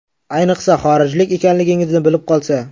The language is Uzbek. Ayniqsa, xorijlik ekanligingizni bilib qolsa.